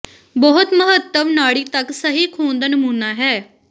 ਬਹੁਤ ਮਹੱਤਵ ਨਾੜੀ ਤੱਕ ਸਹੀ ਖੂਨ ਦਾ ਨਮੂਨਾ ਹੈ